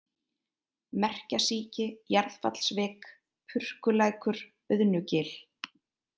Merkjasíki, Jarðfallsvik, Purkulækur, Auðnugil